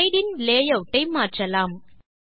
slide இன் layout ஐ மாற்றலாம்